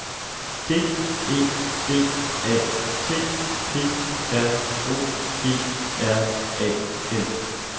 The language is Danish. D E B A T P R O G R A M